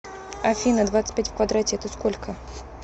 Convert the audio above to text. афина двадцать пять в квадрате это сколько